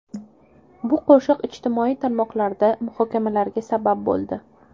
Bu qo‘shiq ijtimoiy tarmoqlarda muhokamalarga sabab bo‘ldi.